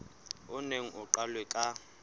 o neng o qalwe ka